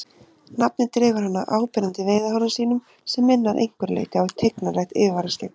Nafnið dregur hann af áberandi veiðihárum sínum sem minna að einhverju leyti á tignarlegt yfirvaraskegg.